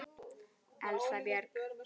Elsa Björg.